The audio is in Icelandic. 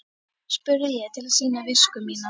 spurði ég til að sýna visku mína.